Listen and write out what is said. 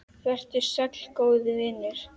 Vertu sæll, góði vinur.